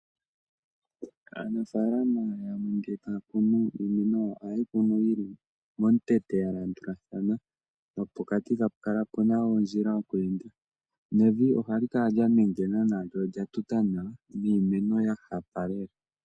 Aanafalama yamwe ngele taya kunu iimeno oha yeyi kunu yili momukweyo yalandulathana pokati eta pu piti oondjila. Evi ohali kala lyanengena lyatuta nawa niimeno ohayi kala ya hapa nawa.